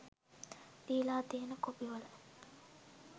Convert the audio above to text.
දීලා තියෙන කොපිවල